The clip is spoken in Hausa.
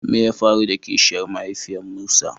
Me ya faru da Kishiyar mahaifiyan Musa?